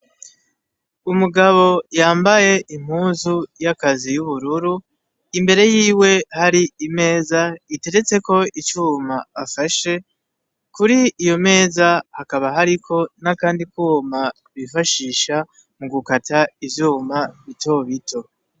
Umugabo yambaye impuzu y'akazi y'ubururu imbere yiwe hari imeza iteretseko icuma afashe kuri iyo meza hakaba hariko n'akandi kwuma bifashisha mu gukata ivyuma bitobito.